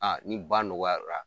ni ba nɔgɔyara